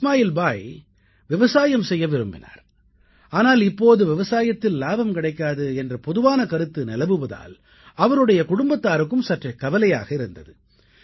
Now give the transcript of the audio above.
இஸ்மாயில் பாய் விவசாயம் செய்ய விரும்பினார் ஆனால் இப்போது விவசாயத்தில் லாபம் கிடைக்காது என்ற பொதுவான கருத்து நிலவுவதால் அவருடைய குடும்பத்தாருக்கும் சற்றே கவலையாக இருந்தது